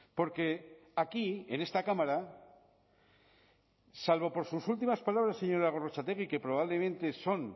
porque aquí en esta cámara salvo por sus últimas palabras señora gorrotxategi que probablemente son